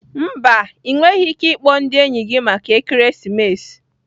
Mba, Ị nweghị ike ịkpọ ndị enyi gị maka ekeresimesi